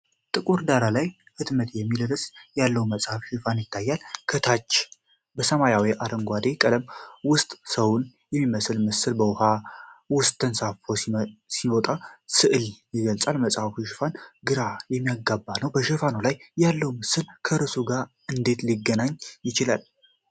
ጥቁር ዳራ ላይ "ሕትመት" የሚል ርዕስ ያለው መጽሐፍ ሽፋን ይታያል። ከታች በሰማያዊና አረንጓዴ ቀለም ውስጥ ሰውን የሚመስል ምስል በውሃ ውስጥ ተንሳፎ ሲመጣ ስዕል ይገኛል። የመጽሐፉ ሽፋን ግራ የሚያጋባ ነው። በሽፋኑ ላይ ያለው ምስል ከርዕሱ ጋር እንዴት ሊገናኝ ይችላል?